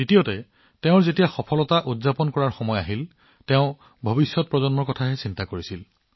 দ্বিতীয়তে যেতিয়া তেওঁলোকৰ উদযাপন কৰিবলৈ সময় আছিল তেওঁলোকে আহিবলগীয়া প্ৰজন্মৰ বিষয়ে চিন্তা কৰিছিল